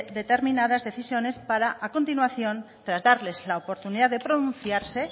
determinadas decisiones para a continuación tras darles la oportunidad de pronunciarse